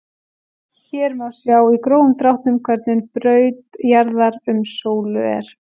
Hér má sjá í grófum dráttum hvernig braut jarðar um sólu er.